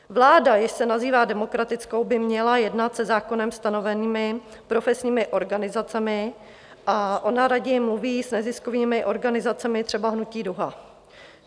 Vláda, jež se nazývá demokratickou, by měla jednat se zákonem stanovenými profesními organizacemi a ona raději mluví s neziskovými organizacemi, třeba hnutí DUHA.